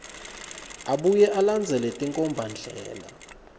abuye alandzele tinkhombandlela